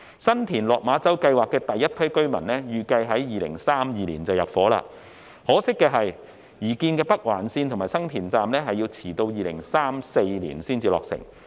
新田/落馬洲計劃第一批居民預計於2032年入伙，可惜的是，擬建的北環綫及新田站遲至2034年才落成。